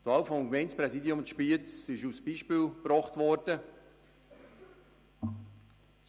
Die Wahl für das Gemeindepräsidium in Spiez ist als Beispiel gebracht worden.